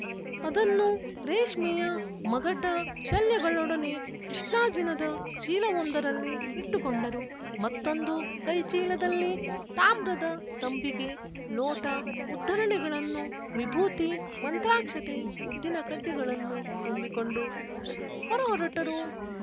ಅದನ್ನು ರೇಷ್ಮೆಯ ಮಗಟ ಶಲ್ಯಗಳೊಡನೆ ಕೃಷ್ಣಾಜಿನದ ಚೀಲವೊಂದರಲ್ಲಿ ಇಟ್ಟುಕೊಂಡರು ಮತ್ತೊಂದು ಕೈಚೀಲದಲ್ಲಿ ತಾಮ್ರದ ತಂಬಿಗೆ ಲೋಟ ಉದ್ಧರಣೆಗಳನ್ನು ವಿಭೂತಿ ಮಂತ್ರಾಕ್ಷತೆ ಉದ್ದಿನಕಡ್ಡಿಗಳನ್ನು ತುಂಬಿಕೊಂಡು ಹೊರಹೊರಟರು